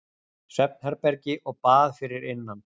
Svefnherbergi og bað fyrir innan.